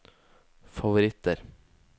favoritter